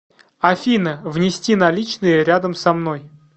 афина внести наличные рядом со мной